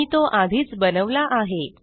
मी तो आधीच बनवला आहे